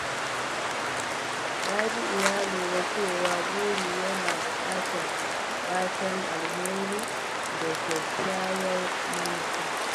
Rabi’u ya lura cewa buri yana bukatar fatan alheri da kyakkyawar manufa.